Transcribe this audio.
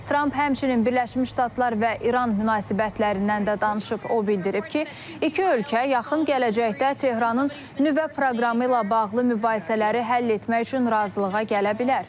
Tramp həmçinin Birləşmiş Ştatlar və İran münasibətlərindən də danışıb, o bildirib ki, iki ölkə yaxın gələcəkdə Tehranın nüvə proqramı ilə bağlı mübahisələri həll etmək üçün razılığa gələ bilər.